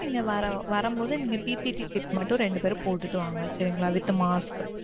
நீங்க வரும்போது நீங்க PPT kit மட்டும் ரெண்டு பேரும் போட்டிட்டு வாங்க சரிங்களா with mask.